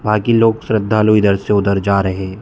बाकी लोग श्रद्धालु इधर से उधर जा रहे हैं।